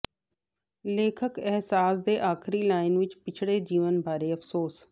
ਲੇਖਕ ਅਹਿਸਾਸ ਦੇ ਆਖਰੀ ਲਾਈਨ ਵਿੱਚ ਪਿਛਲੇ ਜੀਵਨ ਬਾਰੇ ਅਫ਼ਸੋਸ